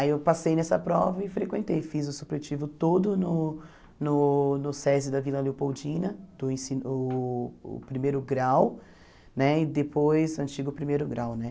Aí eu passei nessa prova e frequentei, fiz o supletivo todo no no no SESI da Vila Leopoldina, do ensi uh o primeiro grau né, e depois, antigo primeiro grau, né?